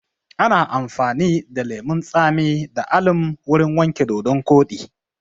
Ana amfani da lemun tsami da alum wurin wanke dodon koɗi